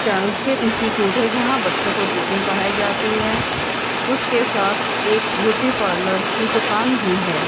Chanakya institute है जहां बच्चों को ट्यूशन पढ़ाई जाती है उसके साथ एक ब्यूटी पार्लर की दुकान भी है।